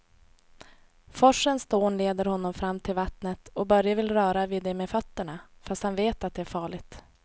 Forsens dån leder honom fram till vattnet och Börje vill röra vid det med fötterna, fast han vet att det är farligt.